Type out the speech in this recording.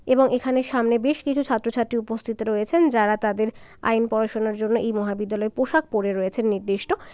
এবং এখানে সামনে বেশ কিছু ছাত্রছাত্রী উপস্থিত রয়েছেন যারা তাদের আইন পড়াশোনার জন্য এই মহাবিদ্যালয় পোশাক পড়ে রয়েছেন নির্দিষ্ট।